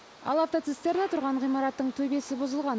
ал автоцистерна тұрған ғимараттың төбесі бұзылған